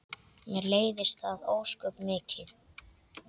Mér leiðist það ósköp mikið.